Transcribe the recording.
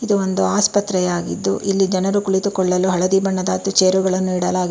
ಇದು ಒಂದು ಆಸ್ಪತ್ರೆಯಾಗಿದ್ದು ಇಲ್ಲಿ ಜನರು ಕುಳಿತುಕೊಳ್ಳಲು ಹಳದಿ ಬಣ್ಣದ ಹತ್ತು ಚೇರುಗಳನ್ನು ಇಡಲಾಗಿದೆ.